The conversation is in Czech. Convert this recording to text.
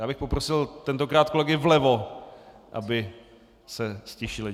Já bych poprosil tentokrát kolegy vlevo, aby se ztišili.